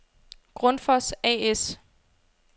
Grundfos A/S